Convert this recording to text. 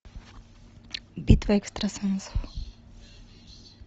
битва экстрасенсов